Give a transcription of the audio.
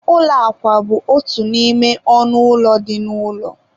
ụlọ akwa bụ otu n'ime ọnụ ụlọ dị n'ụlọ.